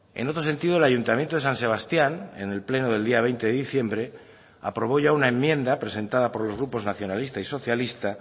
en otro sentido el ayuntamiento de san sebastián en el pleno del día veinte de diciembre aprobó ya una enmienda presentada por los grupos nacionalista y socialista